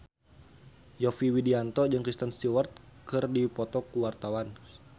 Yovie Widianto jeung Kristen Stewart keur dipoto ku wartawan